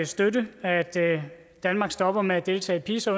støtte at danmark stopper med at deltage i pisa